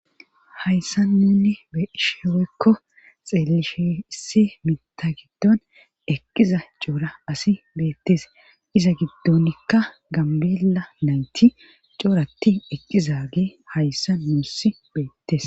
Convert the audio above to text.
hayssa nunni beishewekko xeelishe issi mita giddon eqqiza coora asi beettes iza giddonikka gambeela nayti cooratti eqqiza gee hayssa nuuss beettes